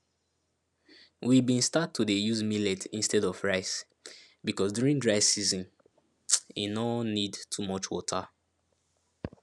we been start to dey use millet instead of rice because during dry season e no need too much water